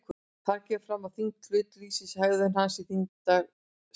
Þar kemur fram að þyngd hlutar lýsir hegðun hans í þyngdarsviði.